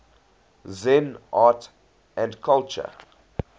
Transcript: zen art and culture